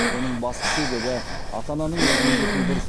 оның басты себебі ата ананың өз міндетін дұрыс